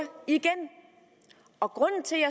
igen og grunden til at